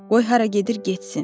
Qoy hara gedir getsin.